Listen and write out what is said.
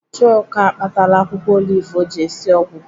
Chuka akpatala akwụkwọ olive ọ ji esi ọgwụ.